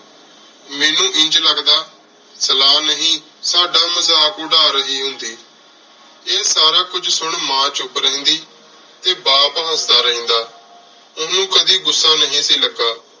ਮੇਨੂ ਇੰਜ ਲਗਦਾ ਸਲਾਹ ਨਹੀ ਸਦਾ ਮਜ਼ਾਕ ਉਰ ਰਹੀ ਹੁੰਦੀ ਆਯ ਸਾਰਾ ਕੁਝ ਸੁਨ ਮਾਂ ਚੁਪ ਰਿਹੰਦੀ ਟੀ ਬਾਪ ਹਸਦਾ ਰਹੰਦਾ ਓਹਨੁ ਕਦੀ ਗੁੱਸਾ ਨਹੀ ਸੀ ਲਗਾ